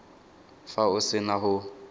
fa o se na go